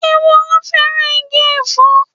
Ehoro fẹ́ràn igi Ẹ̀fọ́.